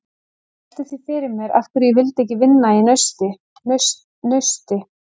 Ég velti því fyrir mér af hverju ég vildi ekki vinna í Nausti.